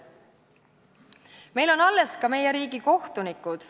Meil on alles ka meie riigi kohtunikud.